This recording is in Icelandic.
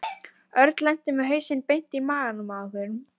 Örn lenti með hausinn beint í magann á einhverjum.